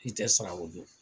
I tɛ sara o don